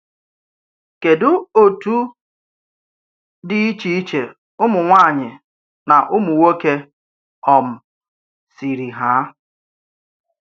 Kedù òtù dị iche iche ụmụnwaanyị ná ụmụ nwoke um siri hà?